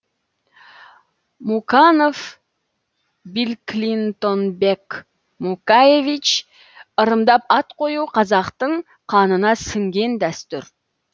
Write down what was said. муканов биллклинтонбек мукаевич ырымдап ат қою қазақтың қанына сіңген дәстүр